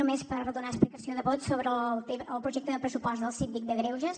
només per donar explicació de vot sobre el projecte de pressupost del síndic de greuges